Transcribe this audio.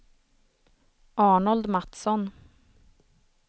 Arnold Matsson